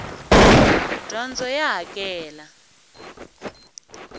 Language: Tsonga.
dyondzo ya hakela